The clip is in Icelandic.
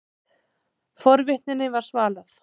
Forvitninni var svalað.